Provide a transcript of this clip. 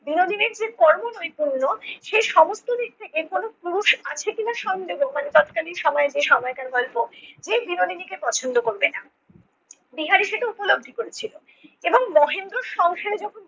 বিনোদিনীর যে কর্ম নৈপুণ্য সে সমস্ত দিক থেকে কোনো পুরুষ আছে কি-না সন্দেহ মানে তৎকালীন সময়ে যে সময়কার গল্পে যে বিনোদিনীকে পছন্দ করবে না, বিহারি সেটা উপলব্ধি করেছিলো এবং মহেন্দ্রর সংসারে যখন